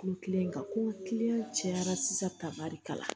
Kulu kelen kan ko kilen cayara sisan ka barika la